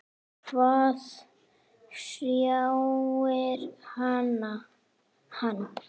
Hvað hrjáir hann?